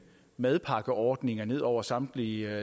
madpakkeordninger ned over samtlige